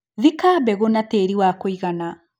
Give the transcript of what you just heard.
Thika mbegũ na tĩri wa kũigana.